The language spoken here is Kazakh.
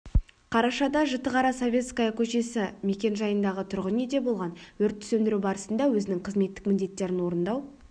қарашада жітіқара советская көшесі мекен-жайындағы тұрғын үйде болған өртті сөндіру барысында өзінің қызметтік міндеттерін орындау